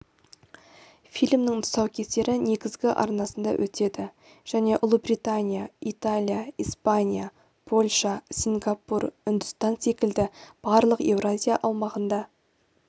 фильмнің тұсаукесері негізгі арнасында өтеді және ұлыбритания италия испания польша сингапур үндістан секілді барлық еуразия аумағында